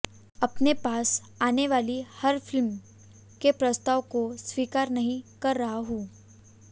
अपने पास आनेवाली हर फिल्म के प्रस्ताव को स्वीकार नहीं कर रहा हूं